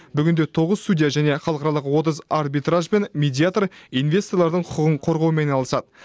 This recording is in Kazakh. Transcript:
бүгінде тоғыз судья және халықаралық отыз арбитриаж бен медиатор инвесторлардың құқығын қорғаумен айналысады